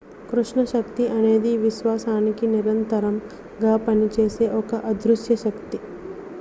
కృష్ణ శక్తి అనేది విశ్వానికి నిరంతరం గా పనిచేసే ఒక అదృశ్య శక్తి